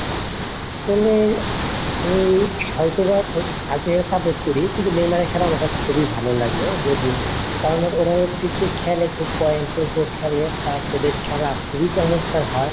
আসলে আমি হয়তো বা আর্জেন্টিনা support করি, কিন্তু নেইমারের খেলা আমার কাছে খুবই ভালো লাগে যদিও কারণ ওরা হচ্ছে খেলে খুব point র উপর খেলে plus ওদের খেলা খুবই চমৎকার হয়.